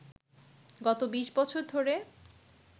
গত ২০ বছর ধরে